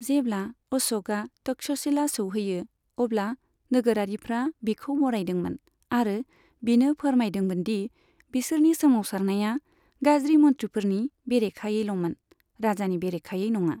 जेब्ला अश'कआ तक्षशिला सौहैयो, अब्ला नोगोरारिफ्रा बिखौ बरायदोंमोन आरो बिनो फोरमायदोंमोन दि बिसोरनि सोमावसारनाया गाज्रि मन्त्रिफोरनि बेरेखायैल'मोन, राजानि बरेखायै नङा।